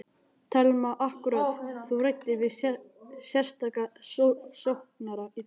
Telma: Akkúrat, þú ræddir við sérstaka saksóknara í dag?